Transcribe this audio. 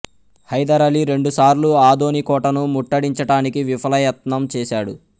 హైదర్ అలీ రెండుసార్లు ఆదోని కోటను ముట్టడించటానికి విఫలయత్నం చేశాడు